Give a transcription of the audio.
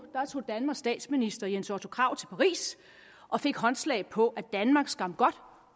tog danmarks statsminister jens otto krag til paris og fik håndslag på at danmark skam godt